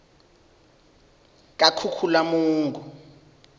kakhukhulamungu